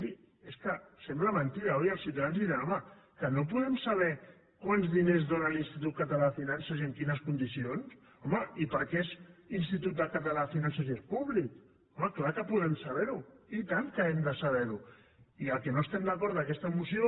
miri és que sembla mentida oi els ciutadans diran home que no podem saber quants diners dóna l’institut català de finances i en quines condicions home i per què és institut català de finances i és públic home clar que podem saber ho i tant que hem de saber ho i amb el que no estem d’acord d’aquesta moció